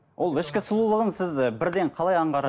ол ішкі сұлулығын сіз і бірден қалай